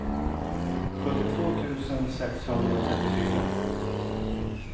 sjuttiotvå tusen sexhundratrettiofyra